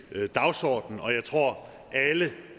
dagsorden og jeg tror at alle